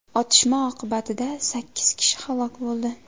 Otishma oqibatida sakkiz kishi halok bo‘ldi.